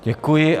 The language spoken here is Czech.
Děkuji.